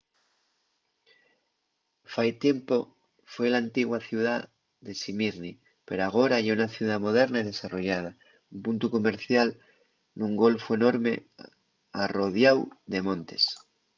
fai tiempu foi l'antigua ciudá de smýrni pero agora ye una ciudá moderna y desarrollada un puntu comercial nun golfu enorme arrodiáu de montes